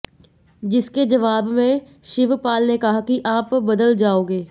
जिसके जवाब में शिवपाल ने कहा कि आप बदल जाओगे